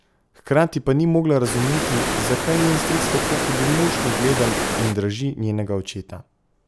Hkrati pa ni mogla razumeti, zakaj njen stric tako hudomušno gleda in draži njenega očeta.